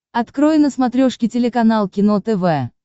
открой на смотрешке телеканал кино тв